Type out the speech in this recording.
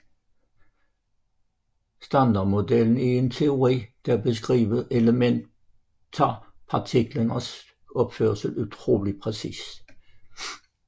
Standardmodellen er en teori der beskriver elementarpartiklernes opførsel utrolig præcist